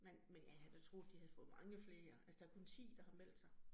Men men jeg havde da troet, de havde fået mange flere altså der kun 10, der har meldt sig